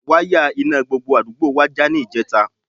Wáyà iná gbogbo àdúgbò wa já níjẹta